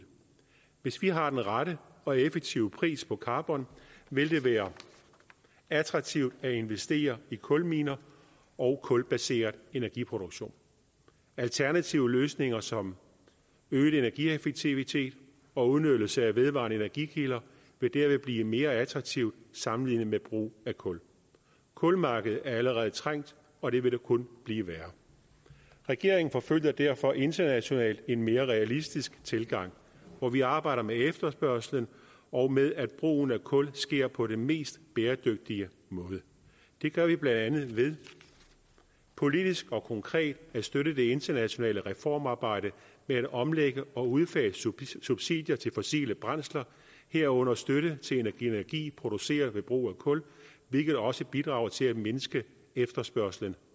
hvis vi har den rette og effektive pris på karbon vil det være attraktivt at investere i kulminer og kulbaseret energiproduktion alternative løsninger som øget energieffektivitet og udnyttelse af vedvarende energikilder vil dermed blive mere attraktive sammenlignet med brug af kul kulmarkedet er allerede trængt og det vil kun blive værre regeringen forfølger derfor internationalt en mere realistisk tilgang hvor vi arbejder med efterspørgslen og med at brugen af kul sker på den mest bæredygtige måde det gør vi blandt andet ved politisk og konkret at støtte det internationale reformarbejde med at omlægge og udfase subsidier til fossile brændsler herunder støtte til energi produceret ved brug af kul hvilket også bidrager til at mindske efterspørgslen